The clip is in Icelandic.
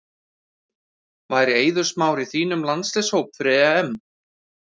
Væri Eiður Smári í þínum landsliðshóp fyrir EM?